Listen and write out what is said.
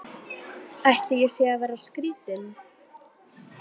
Ætli ég sé að verða skrýtin.